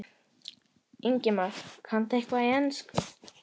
Ingimar: Kanntu eitthvað í ensku?